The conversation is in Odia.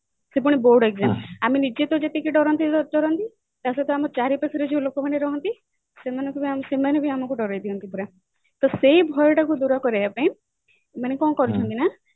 ସେ ପୁଣି board exam ଆମେ ନିଜେ ତ ଯେତିକି ଡରନ୍ତି ଡରନ୍ତି ତା ସହିତ ଆମ ଚାରିପାଖେ ଯୋଉ ଲୋକମାନେ ରହନ୍ତି ସେମାନେ ସେମାନେ ବି ଆମକୁ ଡରେଇ ଦିଅନ୍ତି ପୁରା ତା ସେଇ ଭୟଟାକୁ ଦୂର କରିବା ପାଇଁ ଏମାନେ କଣ କରୁଛନ୍ତି ନା